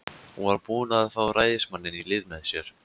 Hún var búin að fá ræðismanninn í lið með sér.